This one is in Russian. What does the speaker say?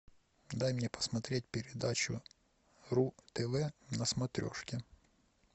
дай мне посмотреть передачу ру тв на смотрешке